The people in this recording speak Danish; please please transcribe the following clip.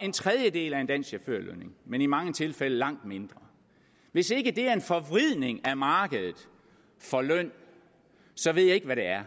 en tredjedel af en dansk chaufførlønning men i mange tilfælde langt mindre hvis ikke det er en forvridning af markedet for løn så ved jeg ikke hvad det er